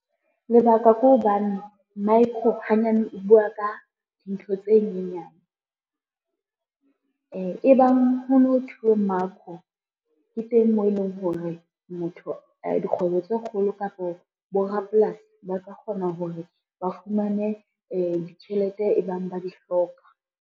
Lebaka ke hobane micro hanyane e bua ka dintho tse nyenyane. E bang ho no thuwe makro ke teng moo e leng hore dikgwebo tse kgolo kapo borapolasi ba ka kgona hore ba fumane ditjhelete e bang ba di hloka.